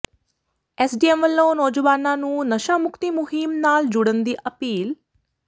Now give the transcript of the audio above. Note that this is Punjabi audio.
ਐੱਸਡੀਐੱਮ ਵੱਲੋਂ ਨੌਜਵਾਨਾਂ ਨੂੰ ਨਸ਼ਾ ਮੁਕਤੀ ਮੁਹਿੰਮ ਨਾਲ ਜੁੜਨ ਦੀ ਅਪੀਲ